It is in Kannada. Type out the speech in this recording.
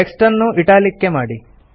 ಟೆಕ್ಸ್ಟ್ ಅನ್ನು ಇಟಾಲಿಕ್ಸ್ ಮಾಡಿ